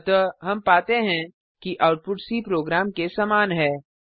अतः हम पाते हैं कि आउटपुट सी प्रोग्राम के समान है